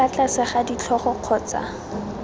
fa tlase ga ditlhogo kgotsa